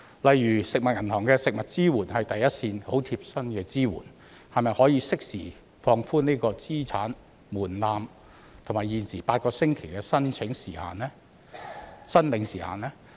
例如食物銀行的食物支援是第一線、很貼身的支援，可否適時放寬資產門檻和現時8星期的申領時限呢？